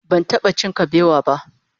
Ban taba cin kabewa ba